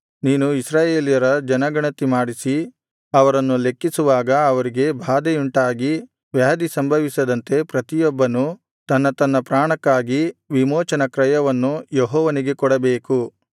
ನೀನು ಇಸ್ರಾಯೇಲ್ಯರ ಜನಗಣತಿ ಮಾಡಿಸಿ ಅವರನ್ನು ಲೆಕ್ಕಿಸುವಾಗ ಅವರಿಗೆ ಬಾಧೆಯುಂಟಾಗಿ ವ್ಯಾಧಿ ಸಂಭವಿಸದಂತೆ ಪ್ರತಿಯೊಬ್ಬನೂ ತನ್ನ ತನ್ನ ಪ್ರಾಣಕ್ಕಾಗಿ ವಿಮೋಚನ ಕ್ರಯವನ್ನು ಯೆಹೋವನಿಗೆ ಕೊಡಬೇಕು